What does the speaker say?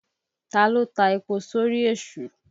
Ta ló ta epo sórí Èṣù?